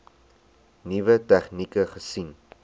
nuwe tegnieke gesien